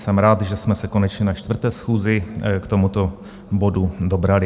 Jsem rád, že jsme se konečně na čtvrté schůzi k tomuto bodu dobrali.